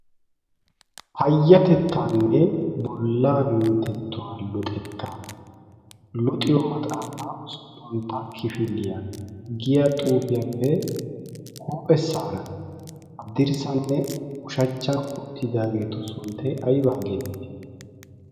payyatettaanne bollaa minttettuwaa luxettaa luxiyo maxaafaa usuppuntta kifiliyaa giya xuufiyaappe huuphe saara addirssanne ushachchan uttidaageetu sunttay aybaa geettii?